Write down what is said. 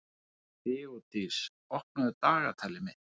Þeódís, opnaðu dagatalið mitt.